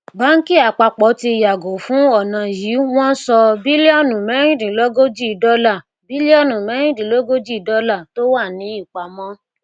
báńkì àpapọ ti yàgò fún ọnà yìí wọn sọ bílíọnù mẹẹrindínlógójì dọlà bílíọnù mẹẹrindínlógójì dọlà tó wà ní ìpamọ